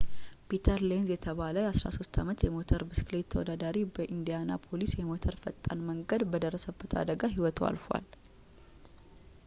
ፒተር ሌንዝ የተባለ የ 13 ዓመት የሞተር ብስክሌት ተወዳዳሪ በኢንዲያናፖሊስ የሞተር ፈጣን መንገድ በደረሰበት አደጋ ህይወቱ አልፏል